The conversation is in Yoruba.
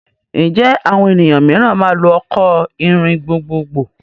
Ǹjẹ́ àwọn ènìyàn mìíràn máa lò ọkọ̀ ìrìn gbogbogbò?